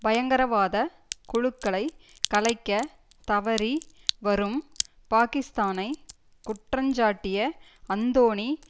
பயங்கரவாத குழுக்களைக் கலைக்க தவறி வரும் பாகிஸ்தானைக் குற்றஞ்சாட்டிய அந்தோணி